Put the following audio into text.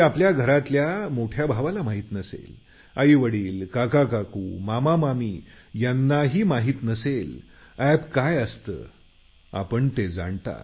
app काय असतं हे आधीच्या पिढीला माहिती नाही हे आपण जाणता